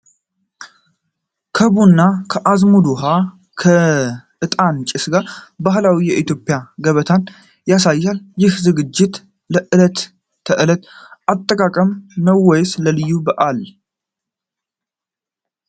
ከቡና፣ ከአዝሙድና ውሃ፣ እና የዕጣን ጭስ ጋር ባህላዊ የኢትዮጵያ ገበታን ያሳያል። ይህ ዝግጅት ለዕለት ተዕለት አጠቃቀም ነው ወይስ ለልዩ በዓል?